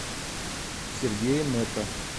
сергея нета